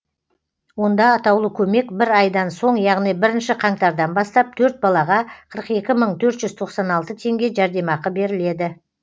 онда атаулы көмек бір айдан соң яғни бірінші қаңтардан бастап төрт балаға қырық екі мың төрт жүз тоқсан алты теңге жәрдемақы беріледі